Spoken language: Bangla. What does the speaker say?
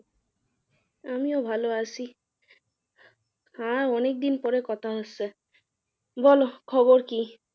আমিও ভালো আছি। আর অনেকদিন পরে কথা হচ্ছে, বল খবর কি?